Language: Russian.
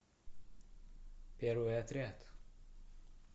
первый отряд